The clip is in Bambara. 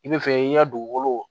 I bɛ fɛ i ka dugukolo